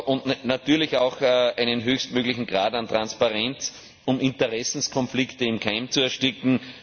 und natürlich auch einen höchstmöglichen Grad an Transparenz, um Interessenkonflikte im Keim zu ersticken.